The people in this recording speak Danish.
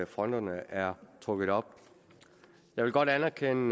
fronterne er trukket op jeg vil godt anerkende